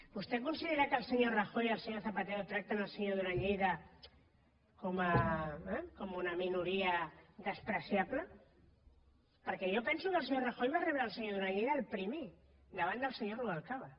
vostè considera que el senyor rajoy i el senyor zapatero tracten el senyor duran lleida com una minoria despreciable perquè jo penso que el senyor rajoy va rebre el senyor duran lleida el primer davant del senyor rubalcaba